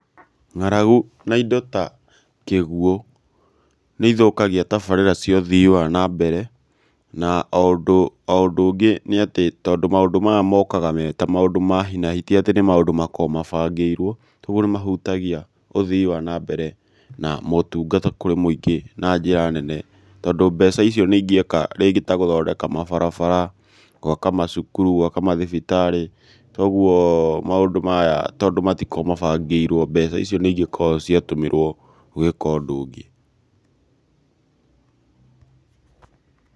Ng'aragu na indo ta kĩguũ nĩ ithũkagia tabarĩra cia ũthii wa nambere na o ũndũ ũngĩ nĩ atĩ tondũ maũndũ maya mokaga me ta maũndũ ma hi na hi ti atĩ nĩ maũndũ makoragwo mabangĩirwo, kwoguo nĩ mahutagia ũthii wa nambere na motungata kũrĩ mũingĩ na njĩra nene tondũ mbeca icio nĩ ingĩeka rĩngĩ ta gũthondeka mabarabara, gwaka macukuru, gwaka mathibitarĩ, toguo maũndũ maya tondũ matokoragwo mabangĩirwo mbeca icio nĩ ingĩkoragwo ciatũmĩrwo gwĩka ũndũ ũngĩ.